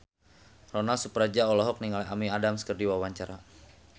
Ronal Surapradja olohok ningali Amy Adams keur diwawancara